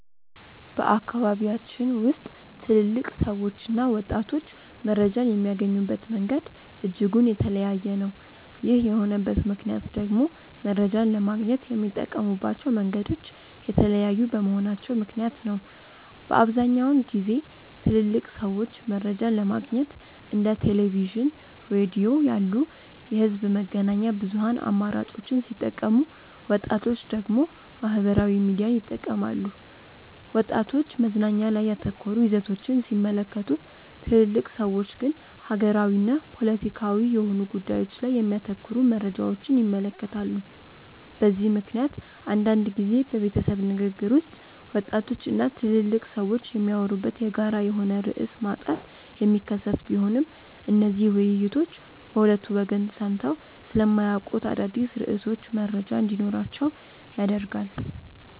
በአካባቢያችን ውስጥ ትልልቅ ሰዎችና ወጣቶች መረጃን የሚያገኙበት መንገድ እጅጉን የተለያየ ነው። ይህ የሆነበት ምክንያት ደግሞ መረጃን ለማግኘት የሚጠቀሙባቸው መንገዶች የተለያዩ በመሆናቸው ምክንያት ነው። በአብዛኛውን ጊዜ ትልልቅ ሰዎች መረጃን ለማግኘት እንደ ቴሌቪዥን፣ ሬዲዮ ያሉ የህዝብ መገናኛ ብዙሃን አማራጮችን ሲጠቀሙ ወጣቶች ደግሞ ማህበራዊ ሚዲያን ይጠቀማሉ። ወጣቶች መዝናኛ ላይ ያተኮሩ ይዘቶችን ሲመለከቱ ትልልቅ ሰዎች ግን ሀገራዊና ፖለቲካዊ የሆኑ ጉዳዮች ላይ የሚያተኩሩ መረጃዎችን ይመለከታሉ። በዚህ ምክንያት አንዳንድ ጊዜ በቤተሰብ ንግግር ውስጥ ወጣቶች እና ትልልቅ ሰዎች የሚያወሩበት የጋራ የሆነ ርዕስ ማጣት የሚከሰት ቢሆንም እነዚህ ውይይቶች በሁለቱ ወገን ሰምተው ስለማያውቁት አዳዲስ ርዕሶች መረጃ እንዲኖራቸው ያደርጋል።